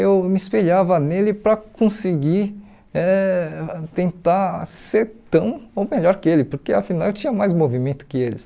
eu me espelhava nele para conseguir eh tentar ser tão ou melhor que ele, porque afinal eu tinha mais movimento que eles.